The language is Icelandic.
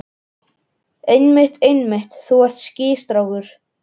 Einmitt, einmitt, þú ert skýr strákur.